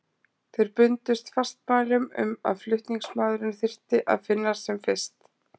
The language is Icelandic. Þeir bundust fastmælum um að flutningsmaðurinn þyrfti að finnast sem fyrst.